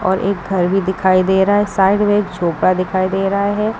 और एक घर भी दिखाई दे रहा है साइड में एक झोपड़ा दिखाई दे रहा है।